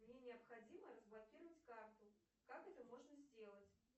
мне необходимо разблокировать карту как это можно сделать